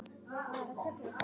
Hún hafði auga fyrir slíku.